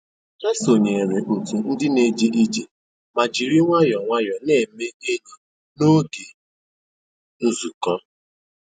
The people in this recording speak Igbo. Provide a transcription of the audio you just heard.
Ha sònyèrè otù ndì na-èjé ìjé mà jìrì nwayọ́ọ́ nwayọ́ọ́ na-èmè ényì n'ógè nzukọ́.